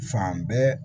Fan bɛɛ